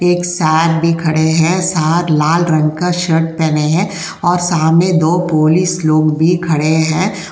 एक साहब भी खड़े हैं। साहब लाल रंग का शर्ट पहने हैं और सामने दो पुलिस लोग भी खड़े हैं।